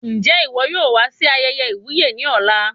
Njẹ iwọ yóò wá sí ayẹyẹ iwuye ní ọ̀la?